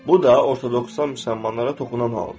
Bu da ortodoksan müsəlmanlara toxunan haldır.